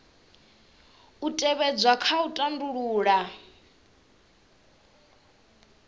u tevhedzwa kha u tandulula